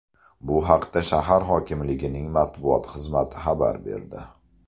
Bu haqda shahar hokimligining matbuot xizmati xabar berdi .